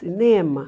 Cinema?